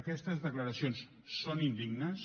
aquestes declaracions són indignes